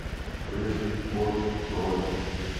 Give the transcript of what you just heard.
рыжий кот бронь